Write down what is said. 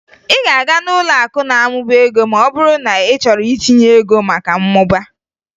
Ị ga-aga n'ụlọakụ na-amụba ego ma ọ bụrụ na ị chọrọ itinye ego maka mmụba